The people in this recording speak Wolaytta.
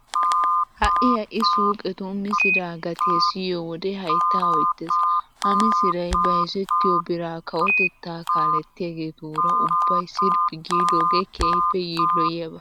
Ha"i ha"i suuqetun misiraa gatiya siyiyo wode hayttaa oytteee. Ha misiray bayzettiyo biraa kawotettaa kaalettiyageetuura ubbay sirphphi giidoogee keehippe yiilloyiyaba.